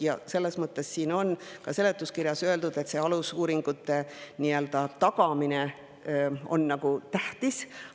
Ja on ka siin seletuskirjas öeldud, et alusuuringute tagamine on tähtis.